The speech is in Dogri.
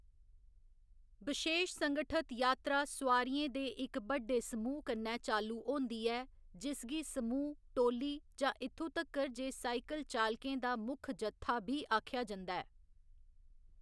बिशेश संगठत यात्रा सोआरियें दे इक बड्डे समूह कन्नै चालू होंदी ऐ, जिसगी समूह्‌, टोली, जां इत्थूं तगर जे साइकिल चालकें दा मुक्ख जत्था बी आखेआ जंदा ऐ।